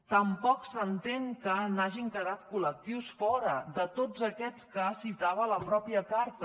tampoc s’entén que n’hagin quedat col·lectius fora de tots aquests que citava la mateixa carta